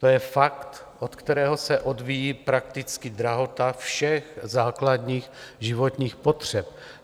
To je fakt, od kterého se odvíjí prakticky drahota všech základních životních potřeb.